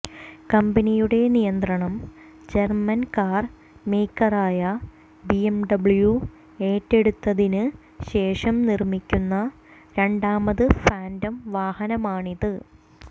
കമ്പനിയുടെ നിയന്ത്രണം German car മേക്കറായ ബിഎംഡബ്ല്യൂ ഏറ്റെടുത്തതിന് ശേഷം നിർമ്മിക്കുന്ന രണ്ടാമത് ഫാന്റം വാഹനമാണിത്